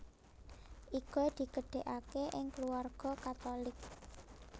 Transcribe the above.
Iga digedhegake ing kulawarga Katulik